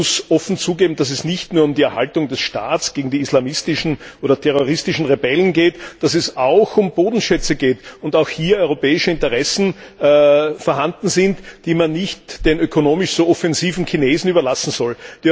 Man muss offen zugeben, dass es nicht nur um die Erhaltung des Staats gegen die islamistischen oder terroristischen Rebellen geht, sondern dass es auch um Bodenschätze geht und auch hier europäische Interessen vorhanden sind, die man nicht den ökonomisch so offensiven Chinesen überlassen soll.